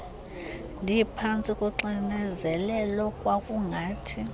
ndiphantsi koxinezelelo kwakungathi